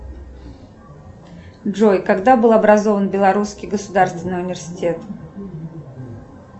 джой когда был образован белорусский государственный университет